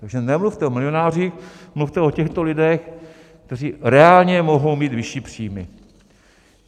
Takže nemluvte o milionářích, mluvte o těchto lidech, kteří reálně mohou mít vyšší příjmy.